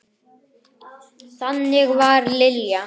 Þannig var Lilja.